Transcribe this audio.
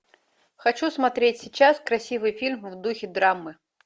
хочу смотреть сейчас красивый фильм в духе драмы